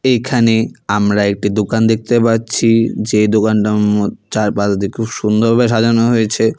এখানে আমরা একটি দোকান দেখতে পাচ্ছি যে দোকানটা ম চারপাশ দিয়ে খুব সুন্দরভাবে সাজানো হয়েছে।